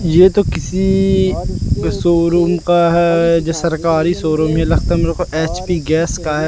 ये तो किसी शोरूम का है जो सरकारी शोरूम लगता है मेरे को एच_पी गैस का है।